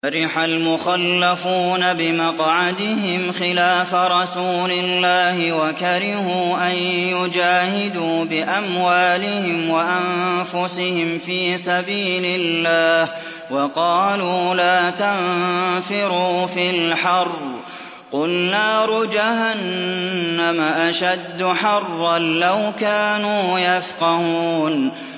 فَرِحَ الْمُخَلَّفُونَ بِمَقْعَدِهِمْ خِلَافَ رَسُولِ اللَّهِ وَكَرِهُوا أَن يُجَاهِدُوا بِأَمْوَالِهِمْ وَأَنفُسِهِمْ فِي سَبِيلِ اللَّهِ وَقَالُوا لَا تَنفِرُوا فِي الْحَرِّ ۗ قُلْ نَارُ جَهَنَّمَ أَشَدُّ حَرًّا ۚ لَّوْ كَانُوا يَفْقَهُونَ